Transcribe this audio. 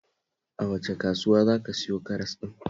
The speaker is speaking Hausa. A wace kasuwa za ka siyo karas ɗin?